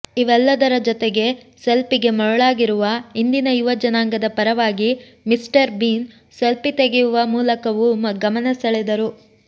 ಇವೆಲ್ಲದರ ಜೊತೆಗೆ ಸೆಲ್ಪಿಗೆ ಮರುಳಾಗಿರುವ ಇಂದಿನ ಯುವ ಜನಾಂಗದ ಪರವಾಗಿ ಮಿಸ್ಟರ್ ಬೀನ್ ಸೆಲ್ಫಿ ತೆಗೆಯುವ ಮೂಲಕವೂ ಗಮನ ಸೆಳೆದರು